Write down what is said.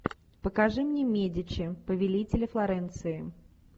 покажи мне медичи повелители флоренции